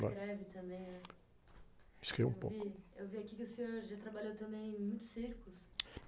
Escreve também, né?screvo um pouco.Eu vi, eu vi aqui que o senhor já trabalhou também em muitos circos.